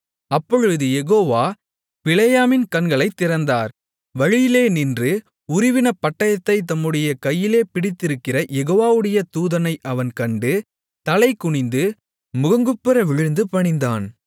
அப்பொழுது யெகோவா பிலேயாமின் கண்களைத் திறந்தார் வழியிலே நின்று உருவின பட்டயத்தைத் தம்முடைய கையிலே பிடித்திருக்கிற யெகோவாவுடைய தூதனை அவன் கண்டு தலைகுனிந்து முகங்குப்புற விழுந்து பணிந்தான்